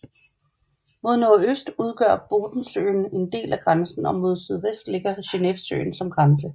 Mod nordøst udgør Bodensøen en del af grænsen og mod sydvest ligger Genevesøen som grænse